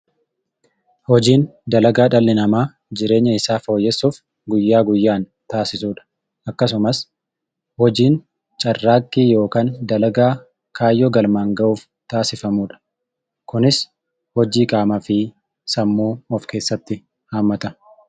Hojiin dalagaa dhalli namaa jireenya isaa fooyyessuuf guyyaa guyyaan taasisudha. Akkasumas hojiin carraaqqii yookan dalagaa kaayyoo galmaan ga'uuf taasifamudha. Kunis hojii qaamaa fi sammuu of keessatti haammata.